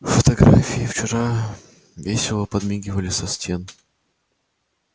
фотографии вчера весело подмигивали со стен